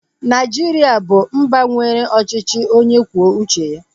Naijiria bụ mba nwere ọchịchị onye kwuo uche ya